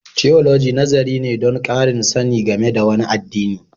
Tiyoloji nazari ne don ƙarin sani game da wani addini.